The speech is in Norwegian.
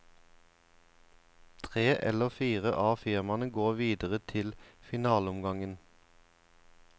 Tre eller fire av firmaene går videre til finaleomgangen.